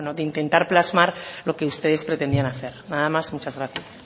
de intentar plasmar lo que ustedes pretendían hacer nada más muchas gracias